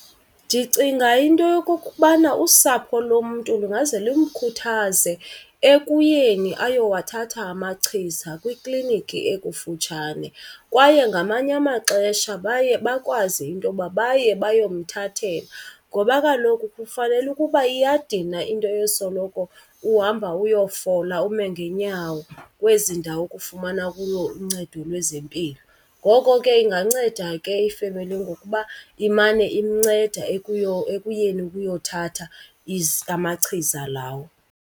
Ndicinga into yokokubana usapho lomntu lungaze lumkhuthaze ekuyeni ayowathatha amachiza kwikliniki ekufutshane. Kwaye ngamanye amaxesha baye bakwazi intoba baye bayomthathela, ngoba kaloku kufanele ukuba iyadina into yosoloko uhamba uyofola ume ngeenyawo kwezi ndawo kufumana kuyo uncedo lwezempilo. Ngoko ke inganceda ke ifemeli ngokuba imane imnceda ekuyeni ukuyothatha amachiza lawo.